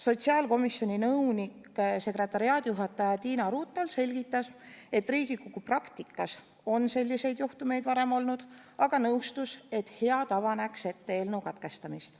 Sotsiaalkomisjoni nõunik-sekretariaadijuhataja Tiina Runthal selgitas, et Riigikogu praktikas on selliseid juhtumeid varem olnud, aga nõustus, et hea tava näeks ette eelnõu katkestamise.